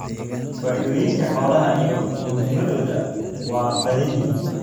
Faa'iidooyinka xoolaha iyo muhiimaddoodu waa badan yihiin.